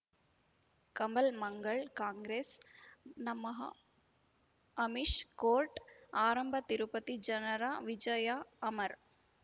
ಕಮಲ್ ಮಂಗಳ್ ಕಾಂಗ್ರೆಸ್ ನಮಃ ಅಮಿಷ್ ಕೋರ್ಟ್ ಆರಂಭ ತಿರುಪತಿ ಜನರ ವಿಜಯ ಅಮರ್